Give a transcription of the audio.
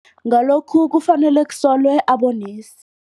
Ngalokhu kufanele kusolwe abonesi.